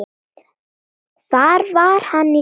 Hvar var hann í gær?